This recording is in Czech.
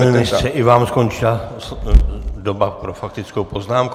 Pane ministře, i vám skončila doba pro faktickou poznámku.